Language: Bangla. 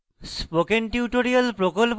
spoken tutorial প্রকল্প the